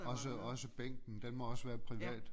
Også også bænken den må også være privat